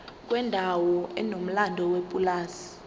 kwendawo enomlando yepulazi